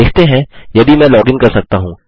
देखते हैं यदि मैं लॉगिन कर सकता हूँ